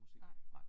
Nej